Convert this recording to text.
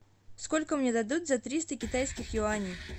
сколько мне дадут за триста китайских юаней